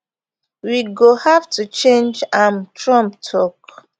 we go have to change change am trump tok